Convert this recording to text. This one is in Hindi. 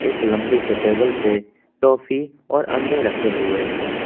एक लंबे से टेबल पे टॉफी और अंडे रखे हुये हैं।